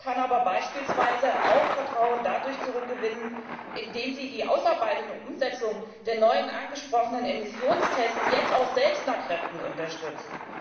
VW kann aber beispielsweise auch Vertrauen zurückgewinnen, indem das Unternehmen die Ausarbeitung und Umsetzung der neuen angesprochenen Emissionstests jetzt auch selbst nach Kräften unterstützt.